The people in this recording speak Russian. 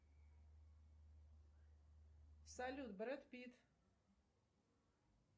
салют брэд питт